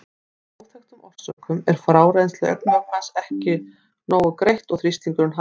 Af óþekktum orsökum er frárennsli augnvökvans ekki nógu greitt og þrýstingurinn hækkar.